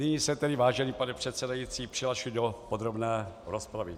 Nyní se tedy, vážený pane předsedající, přihlašuji do podrobné rozpravy.